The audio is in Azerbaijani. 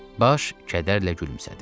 Baş kədərlə gülümsədi.